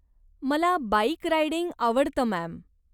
मला bike riding आवडतं, ma'am.